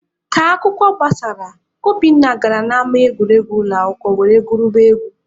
Ka akwụkwọ gbasara, Obinna gara n'ama egwuregwu ụlọakwụkwọ were gwuribe egwu.